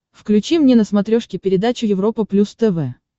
включи мне на смотрешке передачу европа плюс тв